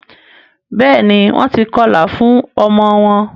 béèni Wón tí kọla fún ọmọ wón